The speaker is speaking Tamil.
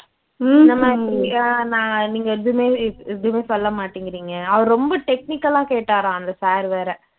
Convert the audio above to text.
என்னம்மா இப்படி அஹ் நா நீங்க எதுவுமே எதுவுமே சொல்ல மாட்டேங்கிறிங்க அவரு ரொம்ப technical ஆ கேட்டாராம் அந்த sir வேற